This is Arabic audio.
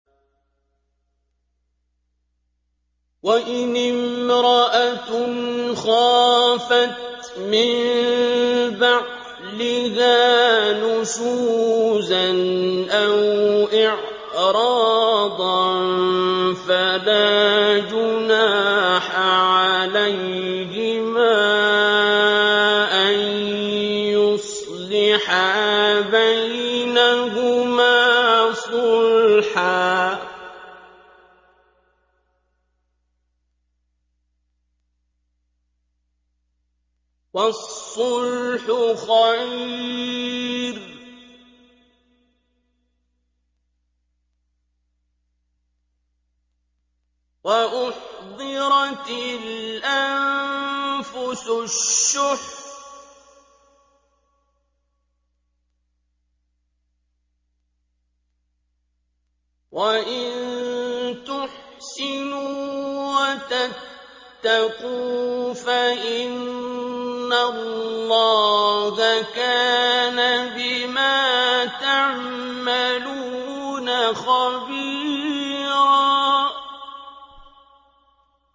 وَإِنِ امْرَأَةٌ خَافَتْ مِن بَعْلِهَا نُشُوزًا أَوْ إِعْرَاضًا فَلَا جُنَاحَ عَلَيْهِمَا أَن يُصْلِحَا بَيْنَهُمَا صُلْحًا ۚ وَالصُّلْحُ خَيْرٌ ۗ وَأُحْضِرَتِ الْأَنفُسُ الشُّحَّ ۚ وَإِن تُحْسِنُوا وَتَتَّقُوا فَإِنَّ اللَّهَ كَانَ بِمَا تَعْمَلُونَ خَبِيرًا